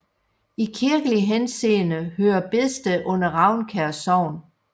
I kirkelig henseende hører Bedsted under Ravnkær Sogn